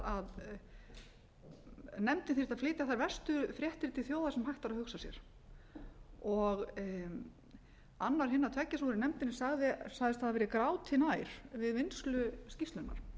að nefndin þyrfti að flytja þær verstu fréttir til þjóðar sem hægt væri að hugsa sér annar hinna tveggja sem voru í nefndinni sagðist hafa verið gráti nær við vinnslu skýrslunnar